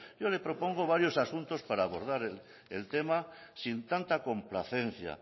yo le propongo varios asuntos para abordar el tema sin tanta complacencia